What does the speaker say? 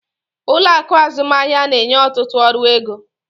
Ụlọ akụ azụmaahịa na-enye ọtụtụ ọrụ ego.